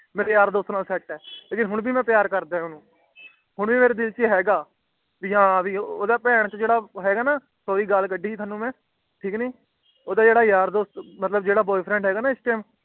ਮੇਰੇ ਯਾਰ ਦੋਸਤ ਨਾਲ ਸੈੱਟ ਹੈ ਲੇਕਿਨ ਹੋਣ ਵੀ ਮਈ ਪਿਆਰ ਕਰਦਾ ਹਾਂ ਓਹਨੂੰ ਹੋਣ ਵੀ ਮੇਰੇ ਦਿਲ ਛੇ ਹੈਗਾ ਭੀ ਹੈ ਓਹਦਾ ਬੇਹਨਚੋਦ ਜੇੜਾ ਹੈਗਾ ਨਾ ਹਮ ਸਾਰੀ ਗੱਲ ਕੱਢੀ ਗਈ ਤੁਹਾਨੂੰ ਮੈਂ ਠੀਕ ਨੀ ਓਹਦਾ ਜੇਦਾ ਯਾਰ ਦੋਸਤ ਮਤਲਬ ਜੇੜਾ ਹੈਗਾ ਹੈ ਨਾ ਇਸ